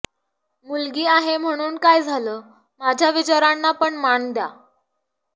मुलगी आहे म्हणून काय झालं माझ्या विचारांना पण मान द्या